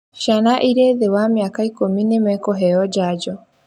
Ciana irĩ thĩ wa mĩaka ikũmi nĩmekũheo njanjo